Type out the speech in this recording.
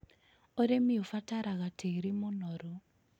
Ũrĩmi ũbataraga tĩĩri mũnoru.